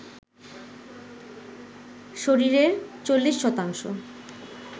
শরীরের ৪০ শতাংশ